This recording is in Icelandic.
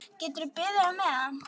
Geturðu beðið á meðan.